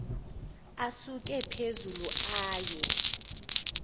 asuke phezulu aye